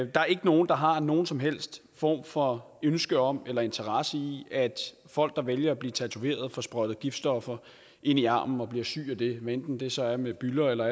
der er ikke nogen der har nogen som helst form for ønske om eller interesse i at folk der vælger at blive tatoveret får sprøjtet giftstoffer ind i armen og bliver syge af det hvad enten det så er med bylder eller